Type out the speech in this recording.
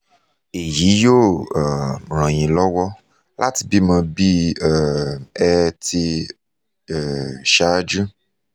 èyí yóò um ràn yín lọ́wọ́ láti bímọ bí um ẹ ti um ṣáájú